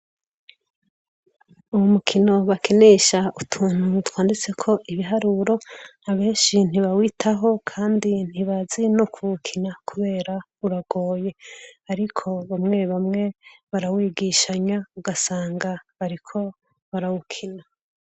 Uwo mukino bakinesha utuntu twanditseko ibiharuro, abenshi ntibawitaho kandi ntibazi no kuwukina kubera uragoye, ariko bamwe bamwe barawigishanya, ugasanga bariko barawukina.